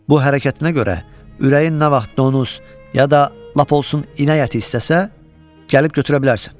Bu hərəkətinə görə ürəyin nə vaxt donuz ya da lap olsun inək əti istəsə, gəlib götürə bilərsən.